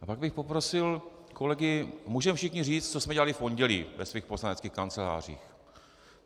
A pak bych poprosil kolegy - můžeme všichni říct, co jsme dělali v pondělí ve svých poslaneckých kancelářích.